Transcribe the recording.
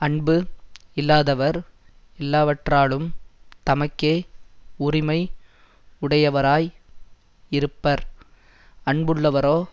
அன்பு இல்லாதவர் எல்லாவற்றாலும் தமக்கே உரிமை உடையவராய் இருப்பர் அன்புள்ளவரோ